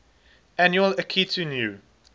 annual akitu new